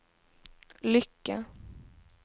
lycka